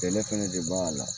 Kɛlɛ fana de b'a la